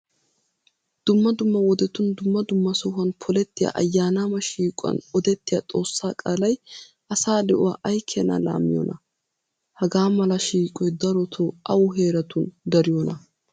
Dumma dumma wodetun dumma dumma sohuwan polettiya ayyaanaama shiiquwan odettiya xoossaa qaalay asaa de'uwa ay keena laammiyonaa? Hagaa mala shiiqoy darotoo awu heeratun dariyonaa?